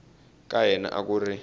ka yena a ku ri